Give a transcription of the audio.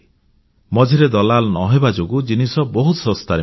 ମଝିରେ ଦଲାଲ ନ ହେବା ଯୋଗୁଁ ଜିନିଷ ବହୁ ଶସ୍ତାରେ ମିଳେ